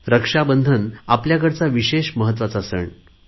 रक्षाबंधन आपल्या कडचा विशेष महत्त्वाचा सण आहे